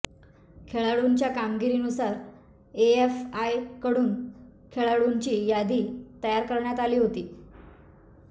खेळाडूंच्या कामगिरीनुसार एएफआयकडून खेळाडूंची यादी तयार करण्यात आली होती